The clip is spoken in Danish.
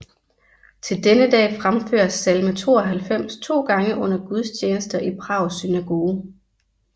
Til denne dag fremføres salme 92 to gange under gudstjenester i Prags synagoge